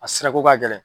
A sirako ka gɛlɛn